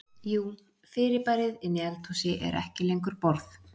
Jú fyrirbærið inni í eldhúsi er ekki lengur borð.